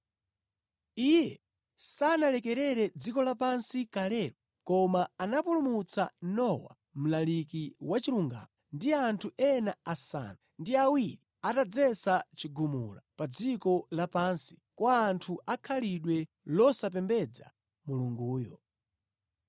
Iye sanalekerere dziko lapansi kalelo, koma anapulumutsa Nowa, mlaliki wa chilungamo, ndi anthu ena asanu ndi awiri atadzetsa chigumula pa dziko lapansi kwa anthu akhalidwe losapembedza Mulunguyo.